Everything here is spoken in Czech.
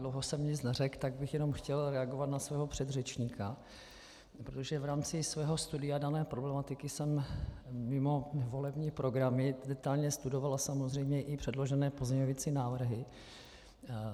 Dlouho jsem nic neřekl, tak bych jenom chtěl reagovat na svého předřečníka, protože v rámci svého studia dané problematiky jsem mimo volební programy detailně studoval samozřejmě i předložené pozměňovací návrhy.